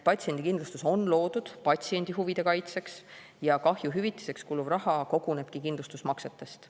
Patsiendikindlustus on loodud patsiendi huvide kaitseks ja kahjuhüvitiseks kuluv raha kogunebki kindlustusmaksetest.